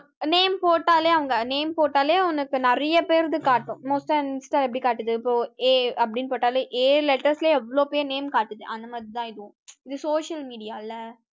name போட்டாலே அங்க name போட்டாலே உனக்கு நிறைய பேருக்கு காட்டும் most insta எப்படி காட்டுது இப்போ A அப்படின்னு போட்டாலே a letters லயே எவ்வளவு பேரு name காட்டுது அந்த மாதிரிதான் இதுவும் இது social media ல